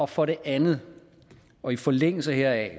for det andet og i forlængelse heraf